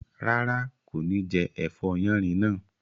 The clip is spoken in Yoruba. Rárá, kò ní jẹ ẹ̀fọ́ yánrin náà